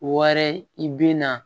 Wɔɛrɛ i bi na